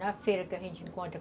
Na feira que a gente encontra.